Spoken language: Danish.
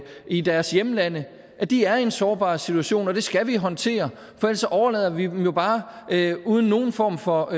i deres hjemlande de er i en sårbar situation og det skal vi håndtere for ellers overlader vi dem jo bare uden nogen form for